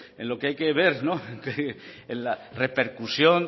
en lo que hay que ver en la repercusión